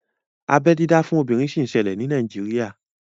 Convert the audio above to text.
Abeẹ dídá fún obìnrin sì ń ṣẹlẹ̀ ní Nàíjírìà